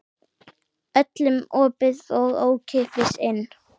Öllum opið og ókeypis inn.